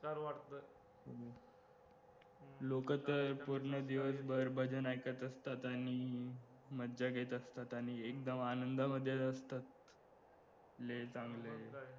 लोक तर पूर्ण दिवसभर भजन ऐकत असतात आणि मज्जा घेत असतात आणि एकदम आनंदामध्ये असतात लय चांगलं आहे